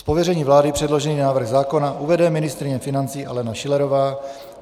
Z pověření vlády předložený návrh zákona uvede ministryně financí Alena Schillerová.